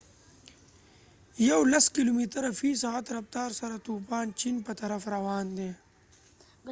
يولس کلوميتره في ساعت رفتار سره توپان چين په طرف روان دي